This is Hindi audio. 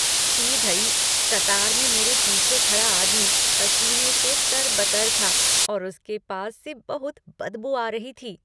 छी भई! कतार में मेरे पीछे खड़ा आदमी पसीने से तर बतर था और उसके पास से बहुत बदबू आ रही थी।